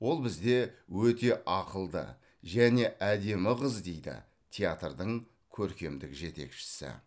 ол бізде өте ақылды және әдемі қыз дейді театрдың көркемдік жетекшісі